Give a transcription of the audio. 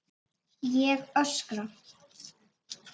Ég öskra.